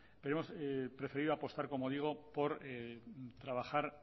pero hemos preferido apostar como digo por trabajar